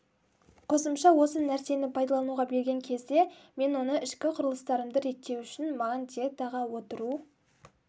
қосымша осы нәрсені пайдалануға берген кезде мен оны ішкі құрлыстарымды реттеу үшін маған диетаға отыру